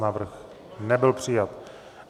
Návrh nebyl přijat.